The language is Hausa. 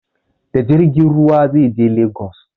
Da jirgin ruwa zai je lagos